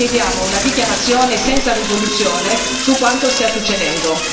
Quindi noi chiediamo una dichiarazione senza risoluzione su quanto sta succedendo.